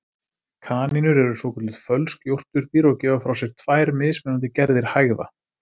Kanínur eru svokölluð fölsk jórturdýr og gefa frá sér tvær mismunandi gerðir hægða.